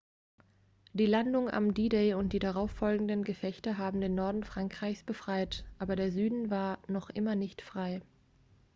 die landung am d-day und die darauffolgenden gefechte haben den norden frankreichs befreit aber der süden war noch immer nicht frei